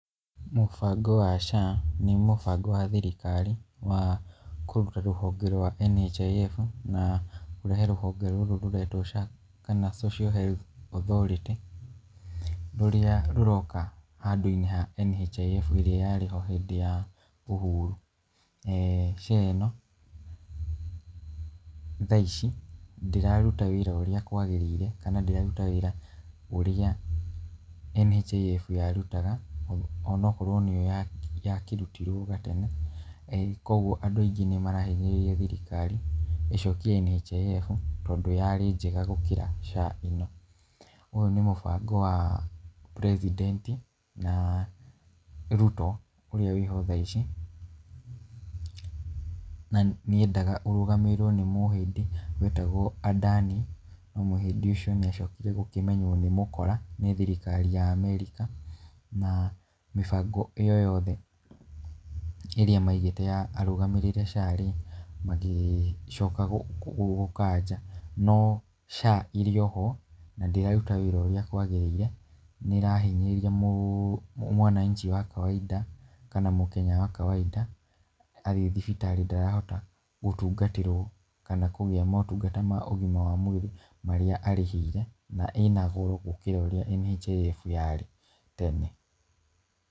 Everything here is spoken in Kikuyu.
Mũbango wa SHA nĩ mũbango wa thirikari wa kũruta rũhonge rwa NHIF, na kũrehe rũhonge rũrũ rũretwo SHA kana Social Health Authority, rũrĩa rũroka handũ-inĩ ha NHIF ĩrĩa yarĩho hĩndĩ ya Uhuru , eeh SHA ĩno thaa ici ndĩraruta wĩra ũrĩa kwagĩrĩire, kana ndĩraruta wĩra ũrĩa NHIF yarutaga ona akorwo nĩyo yakĩrutirwo hau gatene, koguo andũ aingĩ nĩ marahinyĩrĩria thirikari ĩcokie NHIF, tondũ yarĩ njega gũkĩra SHA , ũyũ nĩ mũbango wa tweny twenty na Ruto ũrĩa wĩho thaa ici, nĩ endaga ũrũgamĩrĩrwo nĩ mũhĩndĩ wetagwo Adani, na mũhĩndĩ ũcio nĩ acokire gũkĩmenywo nĩ mũkora nĩ thirikari ya Amerika, na mĩbango ĩyo yothe ĩrĩa maigĩte arũgamĩrĩre SHA rĩ magĩcoka gũkanja, no SHA ĩrĩ o ho na ndĩraruta wĩra ũrĩa kwagĩrĩire , nĩ iĩrahinyĩrĩria mwananchi wa kawainda kana mũkenya wa kawainda, athiĩ thibitarĩ ndarahota gũtungatĩrwo kana kũgĩa motungata ma ũgima wa mwĩrĩ marĩa arĩhĩire, na ĩna goro gũkĩra ũrĩa NHIF yarĩ tene.